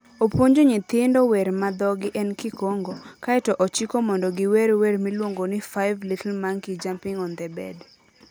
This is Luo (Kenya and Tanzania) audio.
Opuonjo nyithindo wer ma dhogi en Kikongo, kae to ochiko mondo giwer wer miluongo ni "Five Little Monkey Jumping on The Bed".